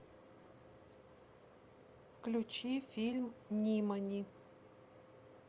включи фильм нимани